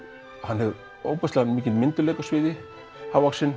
hann hefur mikinn myndugleika á sviði hávaxinn